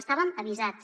estàvem avisats